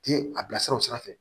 Ti a bilasira o sira fɛ